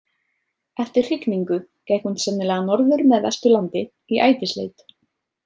Eftir hrygningu gekk hún sennilega norður með Vesturlandi í ætisleit.